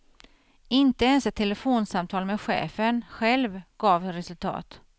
Inte ens ett telefonsamtal med chefen själv gav resultat.